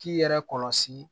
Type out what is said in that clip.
K'i yɛrɛ kɔlɔsi